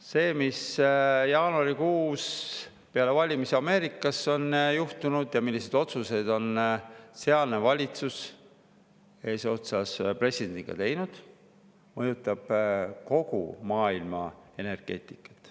See, mis jaanuarikuus peale valimisi Ameerikas on juhtunud ja millised otsused on sealne valitsus eesotsas presidendiga teinud, mõjutab kogu maailma energeetikat.